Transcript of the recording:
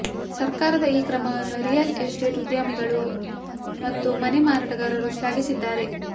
ಸರ್ಕಾರದ ಈ ಕ್ರಮವನ್ನು ರಿಯಲ್ ಎಸ್ಟೇಟ್ ಉದ್ಯಮಿಗಳು ಮತ್ತು ಮನೆ ಮಾರಾಟಗಾರರು ಶ್ಲಾಘಿಸಿದ್ದಾರೆ